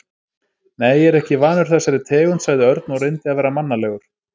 Nei, ég er ekki vanur þessari tegund sagði Örn og reyndi að vera mannalegur.